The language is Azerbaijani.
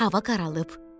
Hava qaralıb.